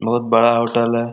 बहुत बड़ा होटल है।